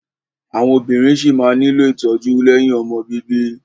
Àwọn obìnrin ṣí máa nílò ìtọ́jú lẹ́yìn ọmọ bíbí.